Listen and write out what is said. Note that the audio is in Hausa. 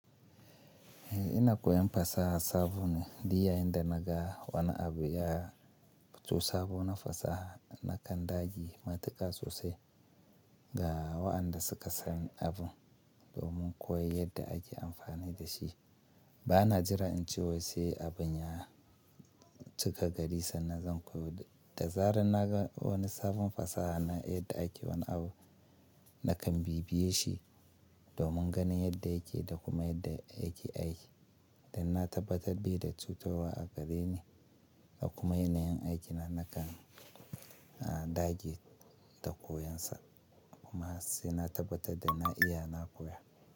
Eh ina koyan fasaha sabo ne. Duk yayin da naga wani abu ya fito sabo na fasaha nakan dage matuƙa sosai ga waɗanda suka san abun domin koyi yadda ake amfani da shi. Bana jira in ce wasu abin ya cika gari sannan zan koyi. Da zarar naga wani sabon fasaha na yadda ake wani abu nakan bibiye shi domin ganin yadda yake da kuma yadda yake aiki. Dan na tabbatar bai da cutarwa a gareni da kuma yanayin aikina nakan dage da koyon sa. Kuma sai na tabbatar da na iya na koya.